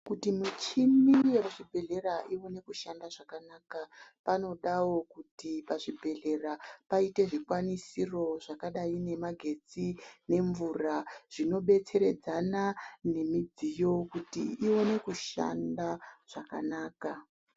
Kuti michini yemuzvibhedhlera iwane kushanda zvakanaka, panodawo kuti pazvibhedhlera payite zvikwanisiro zvakadayi nemagetsi, nemvura. Zvinobetseredzana nemidziyo kuti iwane kushanda zvakanaka.